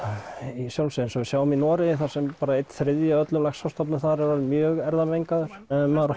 í sjálfu sér eins og við sjáum í Noregi þar sem einn þriðji af öllum laxastofninum þar er orðinn mjög erfðamengaður ef maður